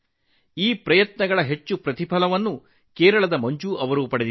ಈ ಪ್ರಯತ್ನಗಳಿಂದ ಕೇರಳದ ಮಂಜು ಅವರು ಕೂಡ ಸಾಕಷ್ಟು ಪ್ರಯೋಜನ ಪಡೆದಿದ್ದಾರೆ